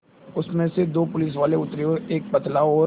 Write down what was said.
उसमें से दो पुलिसवाले उतरे एक पतला और